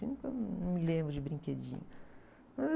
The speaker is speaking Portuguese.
Eu nunca... Não me lembro de brinquedinho.